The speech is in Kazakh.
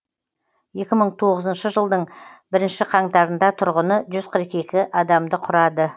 екі мың тоғызыншы жылдың бірінші қаңтарында тұрғыны жүз қырық екі адамды құрады